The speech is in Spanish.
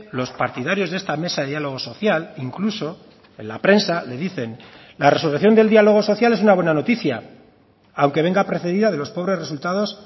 los partidarios de esta mesa de diálogo social incluso en la prensa le dicen la resolución del diálogo social es una buena noticia aunque venga precedida de los pobres resultados